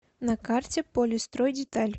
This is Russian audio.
на карте полистройдеталь